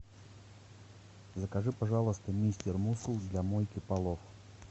закажи пожалуйста мистер мускул для мойки полов